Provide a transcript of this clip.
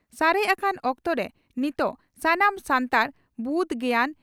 ᱥᱟᱨᱮᱡ ᱟᱠᱟᱱ ᱚᱠᱛᱚᱨᱮ ᱱᱤᱛᱚᱜ ᱥᱟᱱᱟᱢ ᱥᱟᱱᱛᱟᱲ ᱵᱩᱫᱽ ᱜᱮᱭᱟᱱ